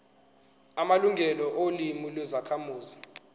amalungelo olimi lwezakhamuzi